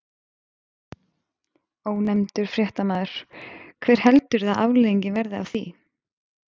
Ónefndur fréttamaður: Hver heldurðu að afleiðingin verði af því?